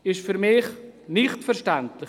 Das ist für mich unverständlich.